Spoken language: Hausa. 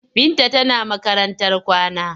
Binta tana makarantar kwana.